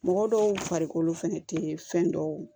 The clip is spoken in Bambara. Mɔgɔ dɔw farikolo fɛnɛ tee fɛn dɔw